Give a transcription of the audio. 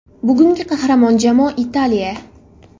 Bugungi qahramon jamoa Italiya.